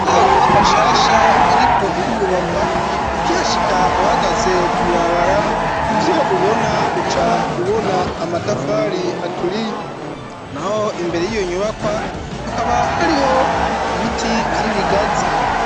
Kuriyo nyubakwa shasha iriko irubakwa ukihashika uhagaze kw'ibarabara ivyo ubona uca ubona amatafari aturiye naho imbere yiyo nyubakwa hakaba hariho ibiti vy'ibigazi